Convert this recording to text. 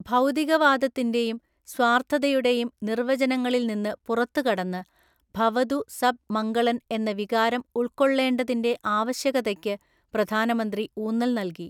ഭൗതികവാദത്തിന്റെയും സ്വാർഥതയുടെയും നിർവചനങ്ങളിൽ നിന്ന് പുറത്തുകടന്ന് ഭവതു സബ് മംഗളൻ എന്ന വികാരം ഉൾക്കൊള്ളേണ്ടതിന്റെ ആവശ്യകതയ്ക്കു പ്രധാനമന്ത്രി ഊന്നൽനൽകി.